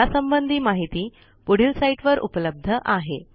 यासंबंधी माहिती पुढील साईटवर उपलब्ध आहे